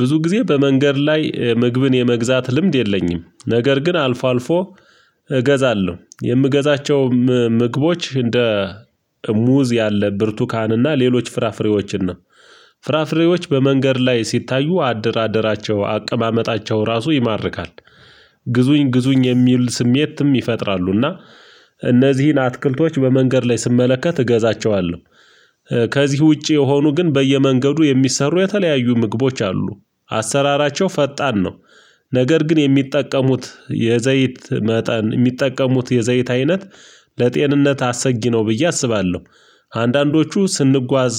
ብዙ ጊዜ በመንገድ ላይ ምግብን የመግዛት ልምድ የለኝም። ነገር ግን አልፎ አልፎ እገዛለሁ የምገዛቸው ምግቦች እንደ ሙዝ ያለ ብርቱካንና ሌሎች ፍራፍሬዎችን ነው፨ ፍራፍሬዎችን በመንገድ ላይ ሲታዩ አደራደራቸው አቀማመጣቸው ራሱ ይማርካል። ግዙኝ ግዙኝ የሚል ስሜትም ይፈጥራሉና እነዚህን አትክልቶች በመንገድ ላይ ስመለከት እገዛቸዋለሁ። ከዚህ ውጪ የሆኑ ግን በየመንገዱ የሚሰሩ የተለያዩ ምግቦች አሉ። አሰራራቸው ፈጣን ነው። ነገር ግን የሚጠቀሙት የዘይት መጠን የሚጠቀሙት የዘይት አይነት ለጤንነት አሰጊነው ብዬ አስባለሁ። አንዳንዶቹ ስንጓዝ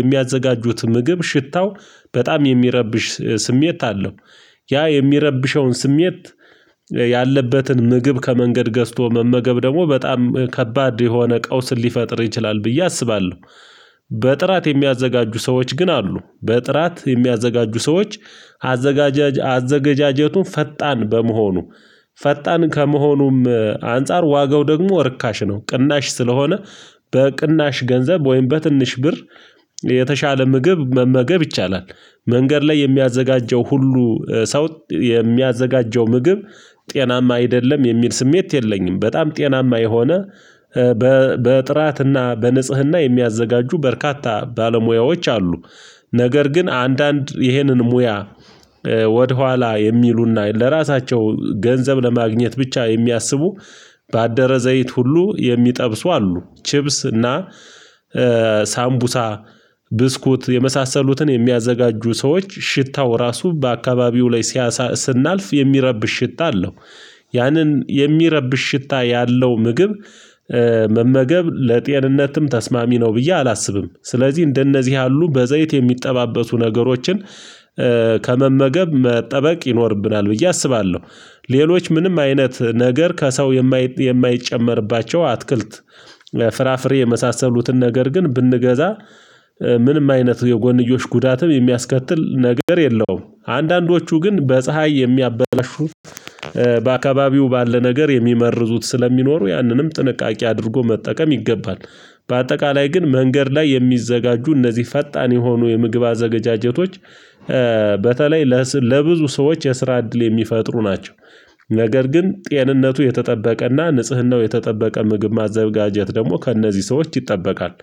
የሚያዘጋጁት ምግብ ሽታው በጣም የሚረብሽ ስሜት አለው። ያ የሚረብሸውን ስሜት ያለበትን ምግብ ከመንገድ ገዝቶ መመገብ ደግሞ በጣም ከባድ የሆነ ቀውስን ሊፈጥር ይችላል ብዬ አስባለሁ። በጥራት የሚያዘጋጁ ሰዎች ግን አሉ። በጥራት የሚያዘጋጁ ሰዎች አዘገጃጀቱ ፈጣን በመሆኑ። ፈጣን ከመሆኑም አንፃር ዋጋው ደግሞ ርካሽ ነው ቅናሽ ስለሆነ፤ በቅናሽ ገንዘብ ወይም በትንሽ ብር የተሻለ ምግብ መመገብ ይቻላል። መንገድ ላይ የሚያዘጋጀው ሁሉ ሰው የሚያዘጋጀው ምግብ ጤናማ አይደለም የሚል ስሜት የለኝም። በጣም ጤናማ የሆነ በጥራትና በንጽህና የሚያዘጋጁ በርካታ ባለሙያዎች አሉ። ነገር ግን አንዳንድ ይህንን ሙያ ወደኋላ የሚሉና ለራሳቸው ገንዘብ ለማግኘት ብቻ የሚያስቡ በአደረ ዘይት ሁሉ የሚጠብሱ አሉ፤ ችብስ እና ሳምቡሳ፤ ብስኩት፤ የመሳሰሉትን የሚያዘጋጁ ሰዎች ሽታው ራሱ በአካባቢው ላይ ሲያሳይ ስናልፍ የሚረብሽ ሽታ አለው። ያንን የሚረብሽ ሽታ ያለው ምግብ መመገብ ለጤንነትም ተስማሚ ነው ብዬ አላስብም። ስለዚህ እንደነዚህ ያሉ በዘይት የሚጠባበሱ ነገሮችን ከመመገብ መጠበቅ ይኖርብናል ብዬ አስባለሁ። ሌሎች ምንም አይነት ነገር ከሰው የማይጨመርባቸው አትክልት ፍራፍሬ የመሳሰሉትን ነገር ግን ብንገዛ ምንም አይነት የጎንዮሽ ጉዳትም የሚያስከትል ነገር የለውም። አንዳንዶቹ ግን በፀሀይ የሚያበላሹት በአካባቢው ባለ ነገር የሚመርዙት ስለሚኖሩ ያንንም ጥንቃቄ አድርጎ መጠቀም ይገባል። በአጠቃላይ ግን መንገድ ላይ የሚዘጋጁ እነዚህ ፈጣን የሆኑ የምግብ አዘጋጀቶች በተለይ ለብዙ ሰዎች የስራ እድል የሚፈጥሩ ናቸው። ነገር ግን ጤንነቱ የተጠበቀና፤ ንጽህናው የተጠበቀ ምግብ ማዘጋጀት ደግሞ ከእነዚህ ሰዎች ይጠበቃል።